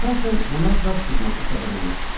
Əsasən buna qaz sızması səbəb olur.